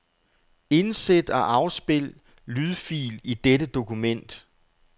Indsæt og afspil lydfil i dette dokument.